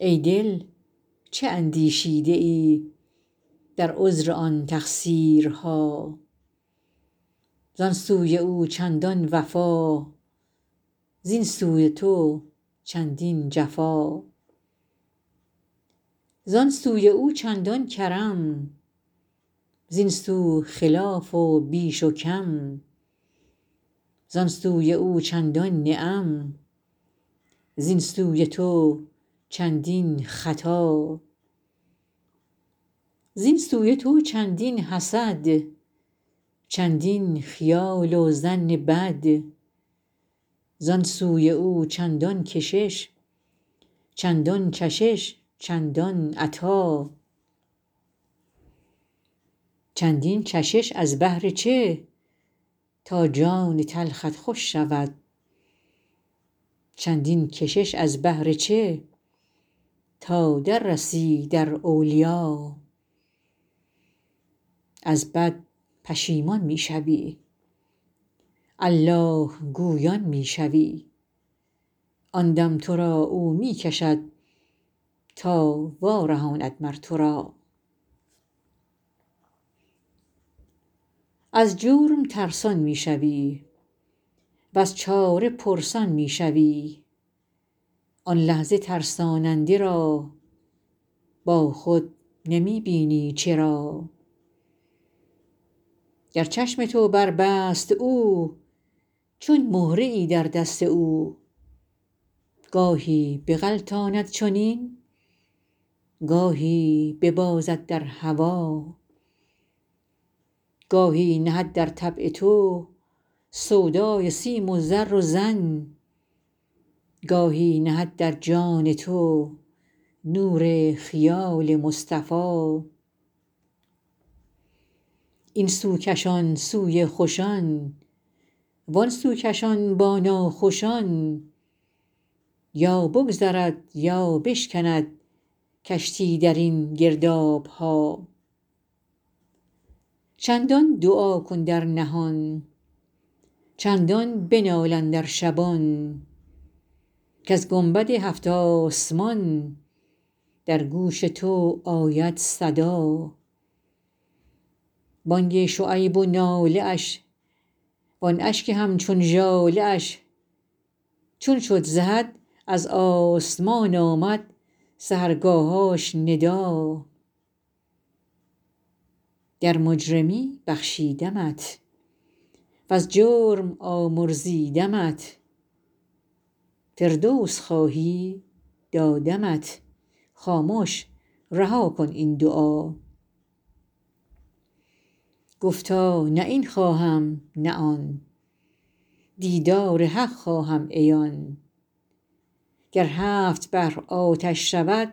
ای دل چه اندیشیده ای در عذر آن تقصیرها زان سوی او چندان وفا زین سوی تو چندین جفا زان سوی او چندان کرم زین سو خلاف و بیش و کم زان سوی او چندان نعم زین سوی تو چندین خطا زین سوی تو چندین حسد چندین خیال و ظن بد زان سوی او چندان کشش چندان چشش چندان عطا چندین چشش از بهر چه تا جان تلخت خوش شود چندین کشش از بهر چه تا در رسی در اولیا از بد پشیمان می شوی الله گویان می شوی آن دم تو را او می کشد تا وارهاند مر تو را از جرم ترسان می شوی وز چاره پرسان می شوی آن لحظه ترساننده را با خود نمی بینی چرا گر چشم تو بربست او چون مهره ای در دست او گاهی بغلطاند چنین گاهی ببازد در هوا گاهی نهد در طبع تو سودای سیم و زر و زن گاهی نهد در جان تو نور خیال مصطفیٰ این سو کشان سوی خوشان وان سو کشان با ناخوشان یا بگذرد یا بشکند کشتی در این گرداب ها چندان دعا کن در نهان چندان بنال اندر شبان کز گنبد هفت آسمان در گوش تو آید صدا بانگ شعیب و ناله اش وان اشک همچون ژاله اش چون شد ز حد از آسمان آمد سحرگاهش ندا گر مجرمی بخشیدمت وز جرم آمرزیدمت فردوس خواهی دادمت خامش رها کن این دعا گفتا نه این خواهم نه آن دیدار حق خواهم عیان گر هفت بحر آتش شود